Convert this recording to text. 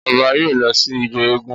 Ọba yóò lọ sí ijó eégún